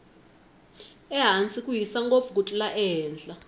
ehansi ku hisa ngopfu ku tlula ehenhla